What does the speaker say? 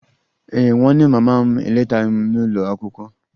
Ee e, nwanne mama m eletaghị m n'ụlọ akwụkwọ